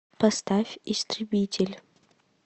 поставь истребитель